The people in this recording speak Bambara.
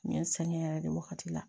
N ye n sɛgɛn yɛrɛ de wagati la